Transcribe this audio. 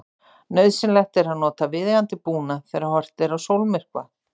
Nauðsynlegt er að nota viðeigandi búnað þegar horft er á sólmyrkva.